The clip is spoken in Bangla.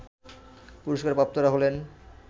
পুরস্কারপ্রাপ্তরা হলেন